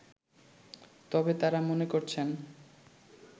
তবে তারা মনে করছেন